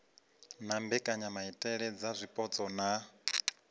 na mbekanyamaitele dza zwipotso na